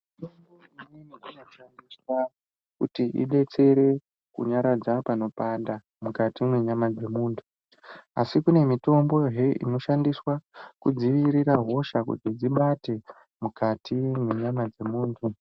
Mitombo imweni inoshandiswa kuti ibetsere kunyararidza panopanda mukati mwenyama dzemuntu asi kune mitombohe inoshandiswa kudzivirira hosha kuti dzibate mukati mwenyama dzemunhu.